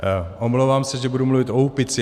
Omlouvám se, že budu mluvit o Úpici.